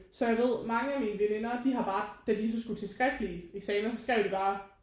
Så jeg ved mange af mine veninder de har bare da de så skulle til skriftlige eksaminer så skrev de bare